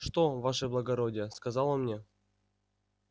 что ваше благородие сказал он мне